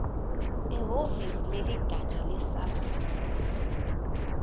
ehhovisi leligatja lesars